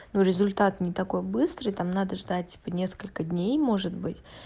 ну результат не такой быстрый там надо ждать типа несколько дней может быть